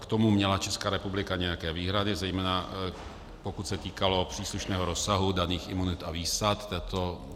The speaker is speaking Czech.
K tomu měla Česká republika nějaké výhrady, zejména pokud se týkalo příslušného rozsahu daných imunit a výsad.